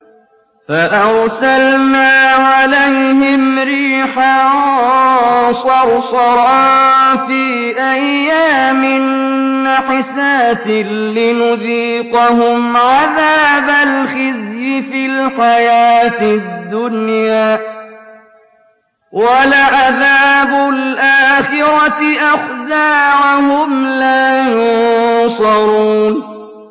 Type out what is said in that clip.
فَأَرْسَلْنَا عَلَيْهِمْ رِيحًا صَرْصَرًا فِي أَيَّامٍ نَّحِسَاتٍ لِّنُذِيقَهُمْ عَذَابَ الْخِزْيِ فِي الْحَيَاةِ الدُّنْيَا ۖ وَلَعَذَابُ الْآخِرَةِ أَخْزَىٰ ۖ وَهُمْ لَا يُنصَرُونَ